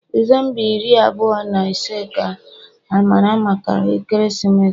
December iri abụọ na ise ka amara maka ekeresimesi.